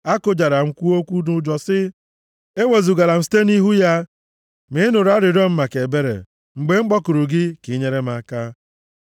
Akụjara m, kwuo okwu nʼụjọ sị, “Ewezugala m site nʼihu ya!” Ma ị nụrụ arịrịọ m maka ebere mgbe m kpọkuru gị ka i nyere m aka.